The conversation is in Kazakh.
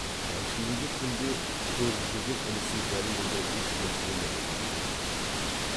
әншейінде күнде көріп жүрген інісін дәл мұндай үлкен денелі деп білмейтін